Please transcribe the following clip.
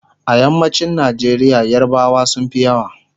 a yammacin Nigeria yarbawa sunfi yawa